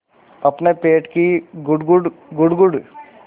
अपने पेट की गुड़गुड़ गुड़गुड़